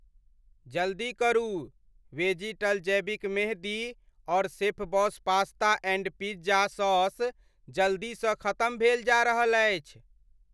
जल्दी करु, वेजिटल जैविक मेंहदी और शेफ़बॉस पास्ता एण्ड पिज्जा सॉस जल्दीसँ खतम भेल जा रहल अछि।